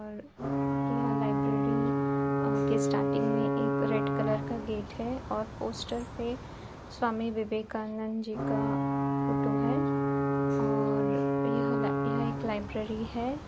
और यह लाइब्रेरी अ के स्टार्टिंग में एक रेड कलर का गेट है और पोस्टर पे स्वामी विवेकानंद जी का फोटो है। और यह यह एक लाइब्रेरी है।